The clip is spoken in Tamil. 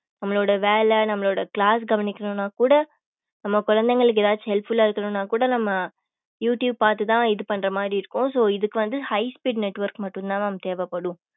நம்மளோட வேலை நம்மளோட class கவனிக்கணும்னா கூட இப்போ நம்ம குழந்தைகளுக்கு ஏதாச்சும் helpful லா இருக்கனும்னா கூட நம்ம youtube பார்த்து தான் இது பண்ற மாரி இருக்கும் so இதுக்கு வந்து gigh speed network மட்டும் தான் தேவைப்படும்